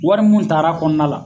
Wari minnu taar'a kɔnɔna la.